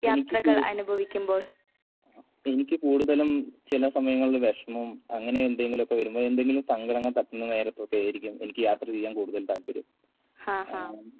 എനിക്ക് കൂ എനിക്ക് കൂടുതലും ചില സമയങ്ങളിൽ വിഷമം അങ്ങനെ എന്തെങ്കിലുവൊക്കെ വരുമ്പ എന്തെങ്കിലും സങ്കടങ്ങൾ തട്ടുന്ന നേരത്തൊക്കെയായിരിക്കും എനിക്ക് യാത്ര ചെയ്യാൻ കൂടുതൽ താല്പര്യം.